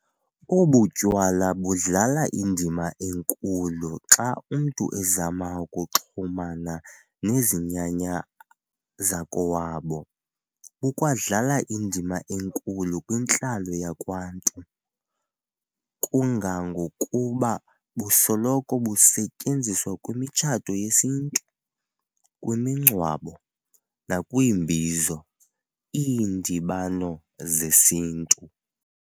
Obu tywala budlala indima enkulu xa umntu ezama ukuxhumana nezinyanya azakowabo, bukwadlala indima enkulu kwintlalo yakwaNtu, kangangokuba busoloko busetyenziswa kwimitshato yesiNtu, kwimingcwabo, nakwiimbizos, iindibano zesintu.